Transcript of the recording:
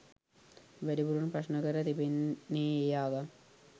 වැඩිපුරම ප්‍රශ්න කර තිබෙන්නේ ඒ ආගම්.